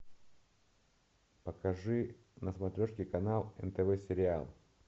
покажи на смотрешке канал нтв сериал